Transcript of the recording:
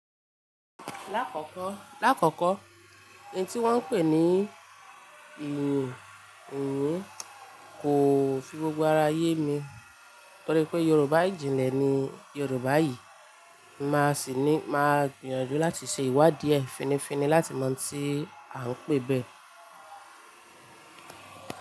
Lákòókò, lákòókò, ohun tí wọ́n ń pè ní ìyìǹ, ìyìǹ kò fi gbogbo ara yé mi. Torí pé Yorùbá ìjìnlẹ̀ ni Yorùbá yìí, màá sì ní, máa gbìyànjú láti ṣe ìwádìí finifini láti mọ ohun tí a ń pè bẹ́ẹ̀